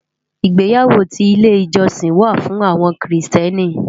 Igbéyàwó ti ilé ijòsín wá fún áwòn Kristièní